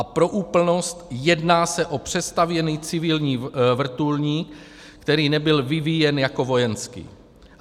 A pro úplnost, jedná se o přestavěný civilní vrtulník, který nebyl vyvíjen jako vojenský.